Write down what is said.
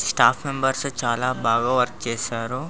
Staff members మనకు కూడా చాల మేమ్న్బెర్స్ వర్క్ చేస్తారు.